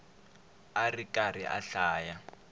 a ri karhi a hlaya